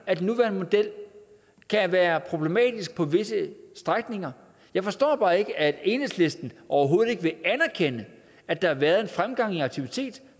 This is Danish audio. at den nuværende model kan være problematisk på visse strækninger jeg forstår bare ikke at enhedslisten overhovedet ikke vil anerkende at der har været en fremgang i aktiviteterne